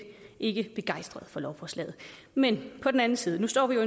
ikke begejstret for lovforslaget men på den anden side står vi jo